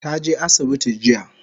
Ta je asibiti jiya